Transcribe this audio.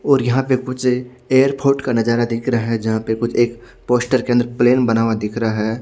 और यहाँ पर कुछ एयरपोर्ट का नज़ारा दिख रहा है जहा पर कुछ एक पोस्टर के अंदर प्लेन बना हुआ दिख रहा है।